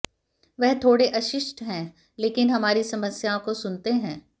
वह थोड़े अशिष्ट हैं लेकिन हमारी समस्याओं को सुनते हैं